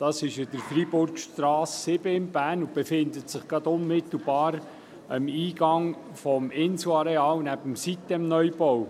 Es befindet sich an der Freiburgstrasse 7 in Bern, unmittelbar beim Eingang des Inselareals neben dem Sitem-Neubau.